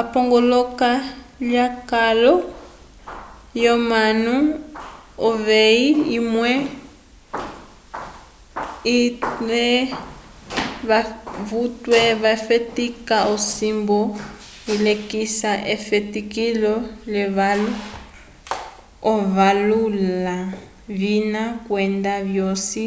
epongoloko lyekalo lyomanu uveyi imwe yutwe yafetika osimbu ilekisa efetikilo lyevalo okuvala ovina kwenda vyosi